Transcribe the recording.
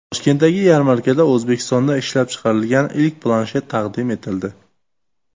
Toshkentdagi yarmarkada O‘zbekistonda ishlab chiqarilgan ilk planshet taqdim etildi.